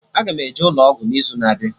Aga m eje ụlọ ọgwụ n'izu na-abịa